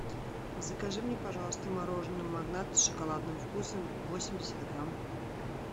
закажи мне пожалуйста мороженое магнат с шоколадным вкусом восемьдесят грамм